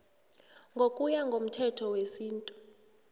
ngokuya ngomthetho wesintu